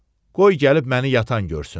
Qoy gəlib məni yatan görsün.